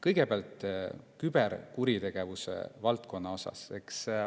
Kõigepealt küberkuritegevuse valdkonnast.